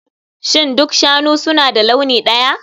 Shin duk shanu suna da launi ɗaya?